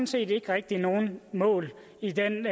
set ikke rigtig nogen mål i den